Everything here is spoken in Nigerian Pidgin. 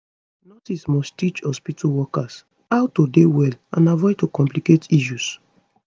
nurses must teach hospitu workers how to dey well and avoid to complicate issues